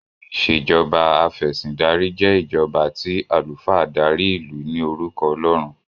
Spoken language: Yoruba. Ìṣèjọba Afẹ̀sìndarí jé ìjọba tí alufa dárí ilú ní orúko ọlọrun.